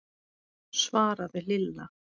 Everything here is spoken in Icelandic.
svaraði Lilla.